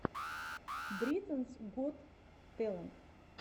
британс гот тэлэнт